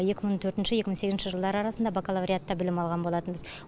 екі мың төртінші екі мың сегізінші жылдар арасында бакалавриатта білім алған болатынбыз